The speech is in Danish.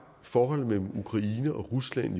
forholdet mellem ukraine og rusland